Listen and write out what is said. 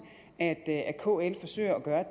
at kl forsøger at gøre